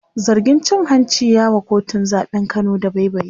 zargin cin hanci ya wa kotun zaɓen Kano dabaibayi